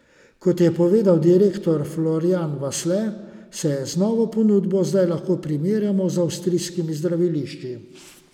Kot je povedal direktor Florjan Vasle, se z novo ponudbo zdaj lahko primerjajo z avstrijskimi zdravilišči.